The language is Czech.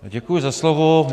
Děkuji za slovo.